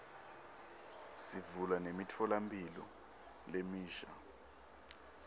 sivula nemitfolamphilo lemisha